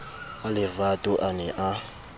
a lerato a ne a